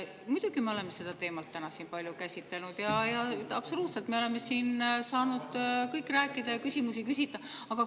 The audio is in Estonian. Muidugi, me oleme seda teemat täna siin palju käsitlenud ja absoluutselt oleme saanud kõik rääkida ja küsimusi küsida.